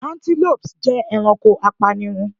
Antelopes jẹ ẹranko apanirun